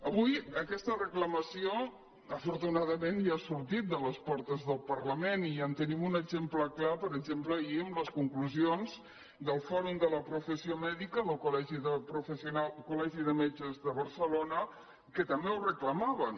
avui aquesta reclamació afortunadament ja ha sor·tit de les portes del parlament i en tenim un exem·ple clar per exemple ahir amb les conclusions del fò·rum de la professió mèdica del col·legi de metges de barcelona que també ho reclamaven